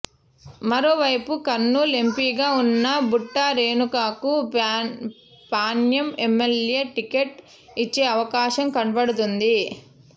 మరోవైపు కర్నూల్ ఎంపీగా ఉన్న బుట్టా రేణుకకు పాణ్యం ఎమ్మెల్యే టికెట్ ఇచ్చే అవకాశం కనబడుతోంది